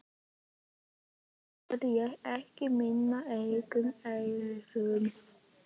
Fyrst trúði ég ekki mínum eigin eyrum.